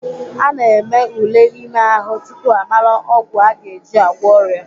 Ana eme ule ime ahụ tupu amara ọgwụ aga eji agwọ ọrịa.